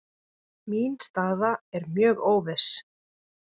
Mín staða er mjög óviss